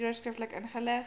hieroor skriftelik ingelig